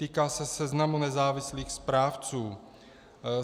Týká se seznamu nezávislých správců.